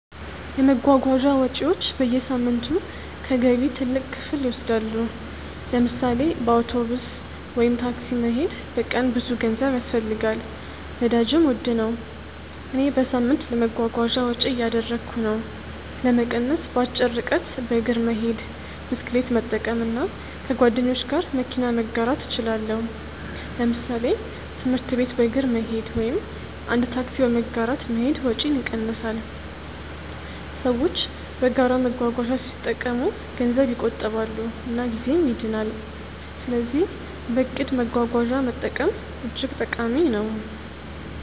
የመጓጓዣ ወጪዎች በየሳምንቱ ከገቢ ትልቅ ክፍል ይወስዳሉ። ለምሳሌ በአውቶቡስ ወይም ታክሲ መሄድ በቀን ብዙ ገንዘብ ያስፈልጋል፣ ነዳጅም ውድ ነው። እኔ በሳምንት ለመጓጓዣ ወጪ እያደረግሁ ነው። ለመቀነስ በአጭር ርቀት በእግር መሄድ፣ ብስክሌት መጠቀም እና ከጓደኞች ጋር መኪና መጋራት እችላለሁ። ለምሳሌ ትምህርት ቤት በእግር መሄድ ወይም አንድ ታክሲ በመጋራት መሄድ ወጪን ይቀንሳል። ሰዎች በጋራ መጓጓዣ ሲጠቀሙ ገንዘብ ይቆጥባሉ እና ጊዜም ይድናል። ስለዚህ በእቅድ መጓጓዣ መጠቀም እጅግ ጠቃሚ ነው።